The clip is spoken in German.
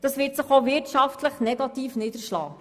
Das wird sich auch wirtschaftlich negativ niederschlagen.